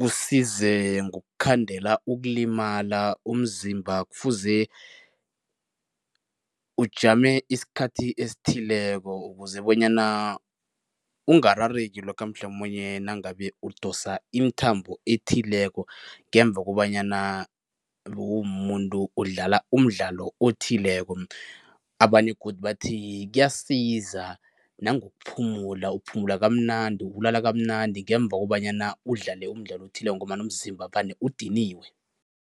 kusize ngokukhandela ukulimala. Umzimba kufuze ujame isikhathi esithileko ukuze bonyana ungarareki lokha mhlamunye nangabe udosa imithambo ethileko ngemva kobanyana bewumumuntu odlala umdlalo othileko. Abanye godu bathi kuyasiza nangokuphumula, uphumula kamnandi, ulala kamnandi ngemva kobanyana udlale umdlalo othileko ngombana umzimba vane udiniwe.